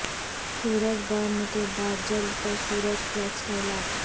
سورج برن کے بعد جلد پر سورج پلٹس کا علاج